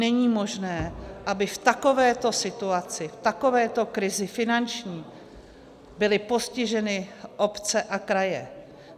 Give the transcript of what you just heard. Není možné, aby v takovéto situaci, v takovéto krizi finanční, byly postiženy obce a kraje.